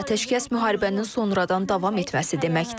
Atəşkəs müharibənin sonradan davam etməsi deməkdir.